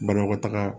Banakɔtaga